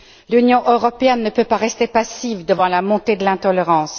L'Union européenne ne peut pas rester passive devant la montée de l'intolérance.